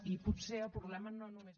i potser el problema no només